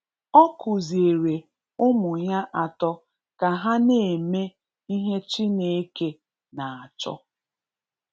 Ọ kuziere ụmụ ya atọ ka ha na-eme ihe Chineke na-achọ